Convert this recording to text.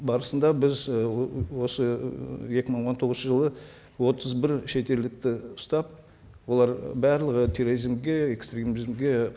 барысында біз і осы і екі мың он тоғызыншы жылы отыз бір шетелдікті ұстап олар барлығы терроризмге экстремизмге